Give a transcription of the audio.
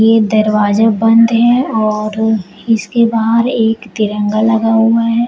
ये दरवाजे बंद है और इसके बाहर एक तिरंगा लगा हुआ है।